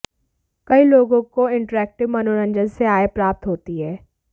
कई लोगों को इंटरैक्टिव मनोरंजन से आय प्राप्त होती है